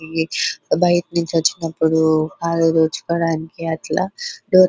ఇది బయట నొంది వచినప్పుడు చూడడానికి బాగుంటది --